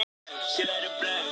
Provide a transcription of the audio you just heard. Ár glataðra tækifæra